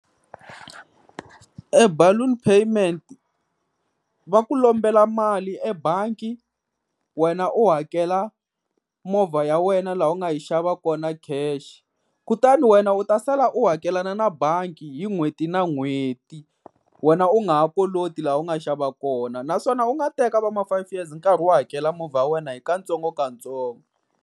E balloon payment va ku lombela mali ebangi, wena u hakela movha ya wena laha u nga yi xava kona cash. Kutani wena u ta sala u hakelana na bangi hi n'hweti na n'hweti, wena u nga ha koloti laha u nga xava kona. Naswona u nga teka va ma-five years u karhi u hakela movha ya wena hi katsongokatsongo.